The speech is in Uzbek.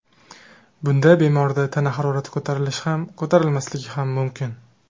Bunda bemorda tana harorati ko‘tarilishi ham, ko‘tarilmasligi ham mumkin.